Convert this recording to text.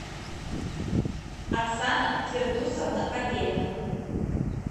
оксана фирдусовна каверина